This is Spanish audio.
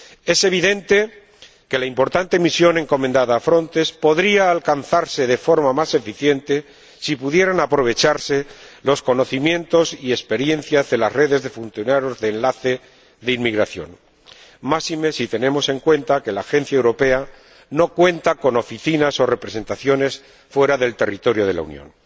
Es evidente que la importante misión encomendada a Frontex podría alcanzarse de forma más eficiente si pudieran aprovecharse los conocimientos y experiencias de las redes de funcionarios de enlace de inmigración, máxime si tenemos en cuenta que la Agencia Europea no cuenta con oficinas o representaciones fuera del territorio de la Unión.